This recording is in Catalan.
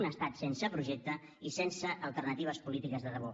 un estat sense projecte i sense alternatives polítiques de debò